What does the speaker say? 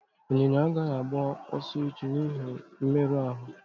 Ịnyịnya agaghị agba ọsọ echi n'ihi mmerụ ahụ